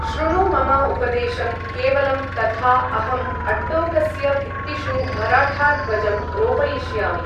शृणु मम उपदेशं केवलं तथा अहम् अट्टोकस्य भित्तिषु मराठाध्वजं रोपयिष्यामि।